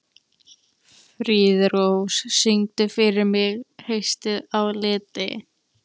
Friðrós, syngdu fyrir mig „Haustið á liti“.